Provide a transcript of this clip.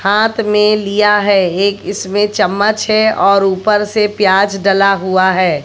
हाथ में लिया है एक इसमें चम्मच है और ऊपर से प्याज डला हुआ है।